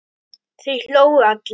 Þeir hlógu allir.